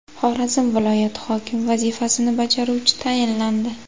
Xorazm viloyati hokimi vazifasini bajaruvchi tayinlandi.